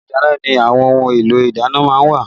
Ilé ìdáná ni àwọn ohun èlò ìdáná má ń wà